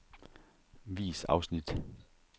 Vis afsnit.